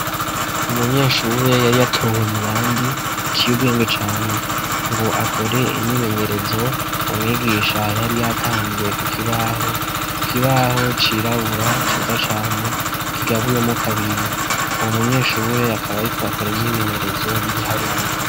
Umunyeshure yari atowe mu bandi atiyo ubwenge cane ngo akore imimenyerezo umwigisha hayari yatanze kukibaho ku kibaho cirabura ciza cane kigabuye mu kabiri uwu munyeshure akaba ari ko akora imyimenyerezo y'ibiharuru.